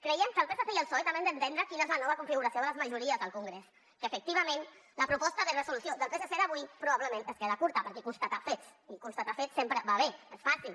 creiem que el psc i el psoe també han d’entendre quina és la nova configuració de les majories al congrés que efectivament la proposta de resolució del psc d’avui probablement es queda curta perquè constata fets i constatar fets sempre va bé és fàcil